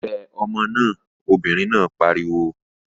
Wẹ ọmọ náà! Obìnrin náà pariwo.